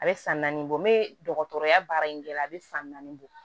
A bɛ san naani bɔ n bɛ dɔgɔtɔrɔya baara in kɛ la a bɛ san naani bɔ